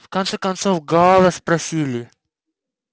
в конце концов гаала спросили